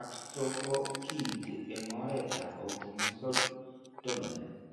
ak stroke ko kiinti eng' oretap autosomal dominant.